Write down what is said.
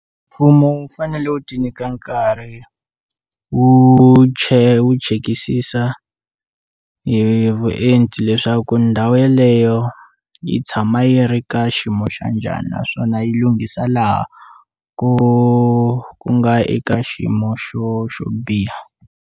Mfumo wu fanele wu ti nyika nkarhi wu tshe wu chekisisa hi vuenti leswaku ndhawu yeleyo yi tshama yi ri ka xiyimo xa njhani naswona yi lunghisa laha ku nga eka xiyimo xo xo biha.